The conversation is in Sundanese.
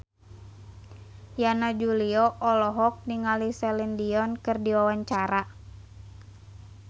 Yana Julio olohok ningali Celine Dion keur diwawancara